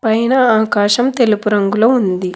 పైన ఆకాశం తెలుపు రంగులో ఉంది.